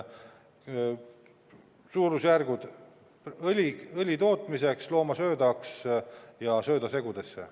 Õli tootmiseks, loomasöödaks ja söödasegudesse.